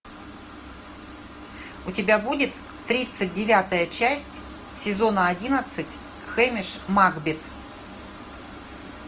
у тебя будет тридцать девятая часть сезона одиннадцать хэмиш макбет